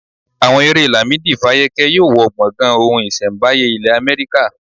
Àwọn èrè Lamidi fákẹ́yẹ yóò wọ gbọ̀gàn ohun iṣẹ́mbáyé ilẹ̀ Amẹ́ríkà.